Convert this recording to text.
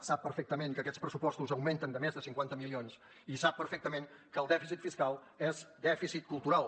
sap perfectament que aquests pressupostos augmenten de més de cinquanta milions i sap perfectament que el dèficit fiscal és dèficit cultural